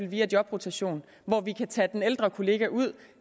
via jobrotation hvor vi kan tage den ældre kollega ud og